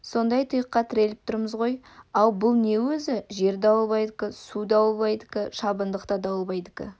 сондай тұйыққа тіреліп тұрмыз ғой ау бұл не өзі жер дауылбайдікі су дауылбайдікі шабындық та дауылбайдікі